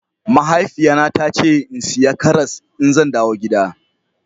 Mahaifiya na ta ce in siya karas in zan dawo gida.